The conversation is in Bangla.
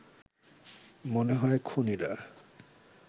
মনে হয় খুনীরা